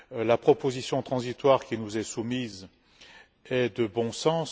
La proposition transitoire qui nous est soumise est de bon sens.